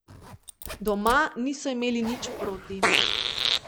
Doma niso imeli nič proti.